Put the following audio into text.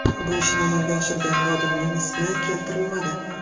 Bu ishni amalga oshirgan xodimning ismi keltirilmadi.